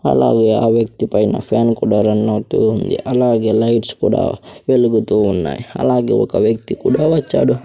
అలాగే ఆ వ్యక్తి పైన ఫ్యాన్ కూడా రన్ అవుతూ ఉంది అలాగే లైట్స్ కూడా వెలుగుతూ ఉన్నాయి అలాగే ఒక వ్యక్తి కూడా వచ్చాడు.